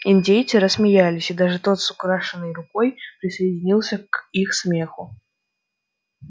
индейцы рассмеялись и даже тот с украшенной рукой присоединился к их смеху